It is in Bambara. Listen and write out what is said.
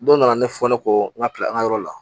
Don nana ne fɔ ne kɔ n ka kile an ka yɔrɔ la